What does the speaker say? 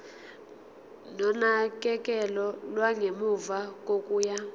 nonakekelo lwangemuva kokuya